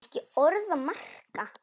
Ekki orð að marka.